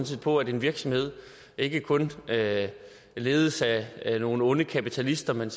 set på at en virksomhed ikke kun ledes af nogle onde kapitalister men